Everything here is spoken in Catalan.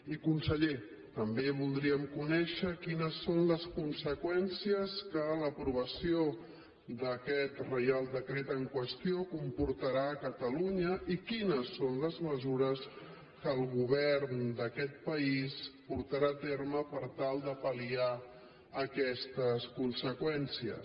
i conseller també voldríem conèixer quines són les conseqüències que l’aprovació d’aquest reial decret en qüestió comportarà a catalunya i quines són les mesures que el govern d’aquest país portarà a terme per tal de pal·liar aquestes conseqüències